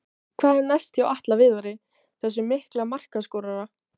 Hvað er næst hjá Atla Viðari, þessum mikla markaskorara?